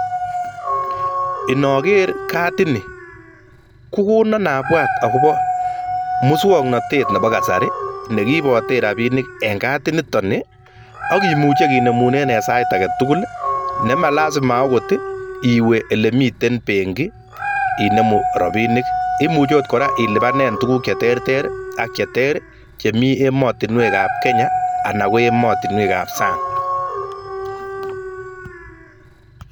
Inoker kadini, kokono abwat akobo muswoknatet nebo kasari neki ibote rapiinik en kadi nito ak kimuche kinemunen en sait agetugul nema lasima akot iwe ole miten benki inemu rapiinik, imuche akot kora ilipanen tuguuk cheterter ak che ter chemi emotinwekab Kenya anan ko emotinwekab sang.